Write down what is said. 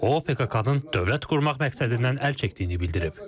O, PKK-nın dövlət qurmaq məqsədindən əl çəkdiyini bildirib.